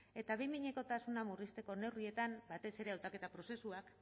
eta behin behinekotasuna murrizteko neurrietan batez ere hautaketa prozesuak